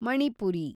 Manipuri